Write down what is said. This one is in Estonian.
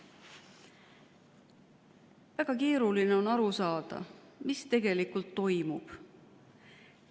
Väga keeruline on aru saada, mis tegelikult toimub.